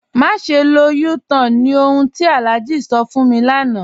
Màṣẹ lọ U-Tan ni ọ̀hun tí Alhaji sọ̀ fún mi lánà.